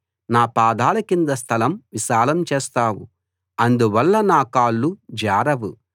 నా పాదాల కింద స్థలం విశాలం చేస్తావు అందువల్ల నా కాళ్ళు జారవు